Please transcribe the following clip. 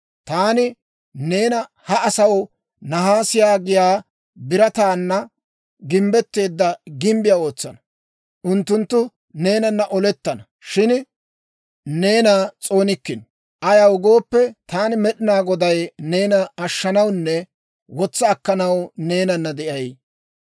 Taani neena ha asaw naasiyaa giyaa birataana gimbbetteedda gimbbiyaa ootsana. Unttunttu neenanna olettana; shin neena s'oonikkino. Ayaw gooppe, taani Med'inaa Goday neena ashshanawunne wotsa akkanaw neenanna de'ay.